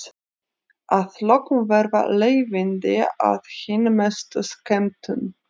Að lokum verða leiðindin að hinni mestu skemmtun.